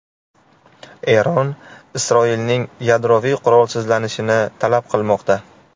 Eron Isroilning yadroviy qurolsizlanishini talab qilmoqda.